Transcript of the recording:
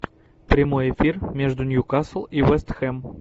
прямой эфир между ньюкасл и вест хэм